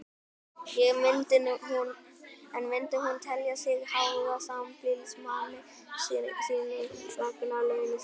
En myndi hún telja sig háða sambýlismanni sínum vegna launa sinna?